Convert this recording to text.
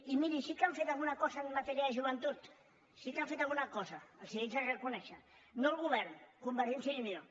i miri sí que han fet alguna cosa en matèria de joventut sí que han fet alguna els ho haig de reconèixer no el govern convergència i unió